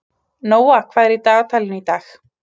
Nóa, hvað er í dagatalinu í dag?